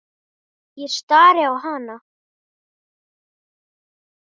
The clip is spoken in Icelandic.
Ég stari á hana.